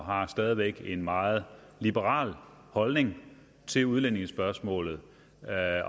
og stadig væk har en meget liberal holdning til udlændingespørgsmålet